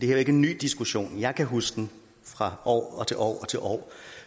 er jo ikke en ny diskussion jeg kan huske den fra år og til år og til år